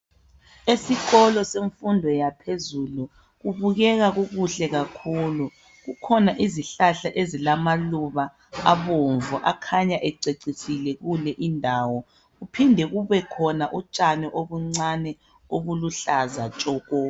Esikolo semfundo yaphezulu kubukeka kukukhle kakhulu . Kukhona izihlahla ezilamaluba abomvu akhanya ececisile kule indawo kuphinde kubekhona utshani obuncane obuluhlaza tshoko.